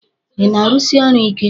Ị na-arụsi ọrụ ike?